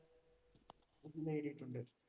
എനിക്ക് നേരിട്ടുണ്ട്.